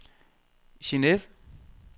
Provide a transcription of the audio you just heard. Geneve